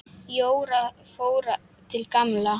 Jóra fór til Gamla.